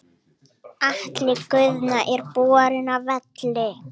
Atli Guðna er borinn af velli.